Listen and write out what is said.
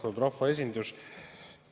Austatud rahvaesindus!